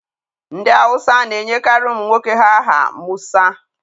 Ndị Hause na-enyekarị ụmụ nwoke ha aha Musa.